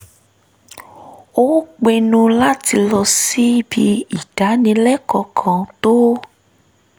ó pinnu láti lọ síbi ìdánilẹ́kọ̀ọ́ kan tó